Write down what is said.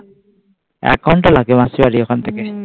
এক ঘন্টা লাগে মাসির বাড়ি ওখান থেকে